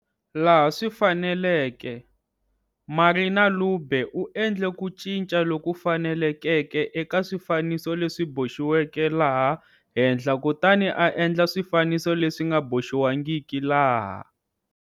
Laha swi faneleke, Marina Lubbe u endle ku cinca loku fanelekeke eka swifaniso leswi boxiweke laha henhla kutani a endla swifaniso leswi nga boxiwangiki laha.